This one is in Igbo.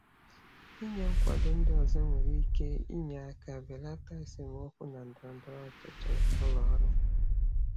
Ịnye um ndị ọzọ nkwado nwere ike inye aka mee ka esemokwu ndọrọndọrọ ụlọ ọrụ belata.